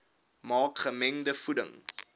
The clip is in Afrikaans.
maak gemengde voeding